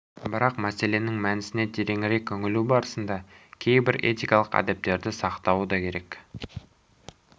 бірақ мәселенің мәнісіне тереңірек үңілу барысында кейбір этикалық әдептерді сақтауы да керек